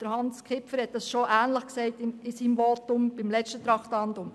Hans Kipfer hat in seinem Votum zum letzten Traktandum bereits Ähnliches gesagt.